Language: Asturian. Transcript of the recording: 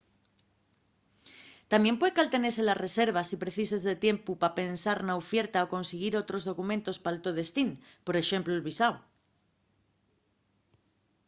tamién pueden caltenete la reserva si precises de tiempu pa pensar na ufierta o consiguir otros documentos pal to destín por exemplu el visáu